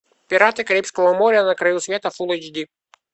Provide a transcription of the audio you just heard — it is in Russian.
пираты карибского моря на краю света фулл эйч ди